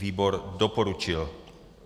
Výbor doporučil.